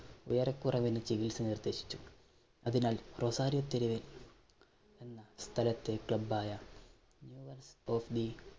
ഏറെ കുറെ നല്ല ചികിത്സ നിർദ്ദേശിച്ചു. അതിനാൽ റൊസാരിയോ തെരുവ് എന്ന സ്ഥലത്തെ club ആയ